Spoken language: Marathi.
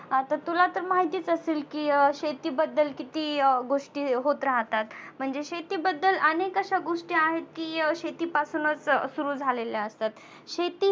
आता तुला तर माहितीच असेल की अह शेती बद्दल किती अह गोष्टी होत राहतात म्हणजे शेती बद्दल अनेक अशा गोष्टी आहेत की अह शेतीपासूनच सुरु झालेल्या असतात.